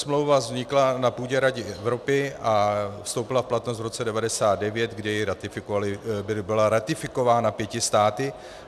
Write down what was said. smlouva vznikla na půdě Rady Evropy a vstoupila v platnost v roce 1999, kdy byla ratifikována pěti státy.